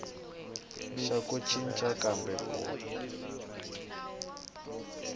xa ku cinca kumbe ku